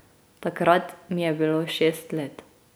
Takrat mi je bilo šest let.